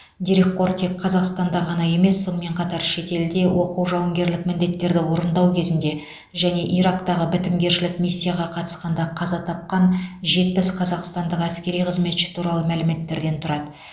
дерекқор тек қазақстанда ғана емес сонымен қатар шетелде оқу жауынгерлік міндеттерді орындау кезінде және ирактағы бітімгершілік миссияға қатысқанда қаза тапқан жетпіс қазақстандық әскери қызметші туралы мәліметтерден тұрады